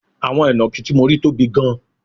Àwọn inakí tí mo rí tóbi gan